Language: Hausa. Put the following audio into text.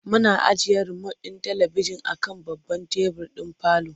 Muna ajiye romot ɗin talibijin a kan babban tebur ɗin parlour.